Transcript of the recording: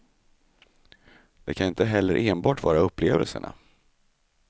Det kan inte heller enbart vara upplevelserna.